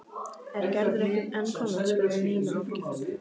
Er Gerður ekki enn komin? spurði Nína áhyggjufull.